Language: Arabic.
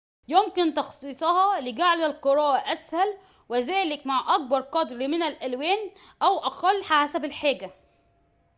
يمكن تخصيصها لجعل القراءة أسهل وكذلك مع أكبر قدر من الألوان أو أقل حسب الحاجة